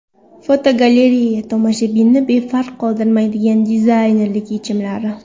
Fotogalereya: Tomoshabinni befarq qoldirmaydigan dizaynerlik yechimlari.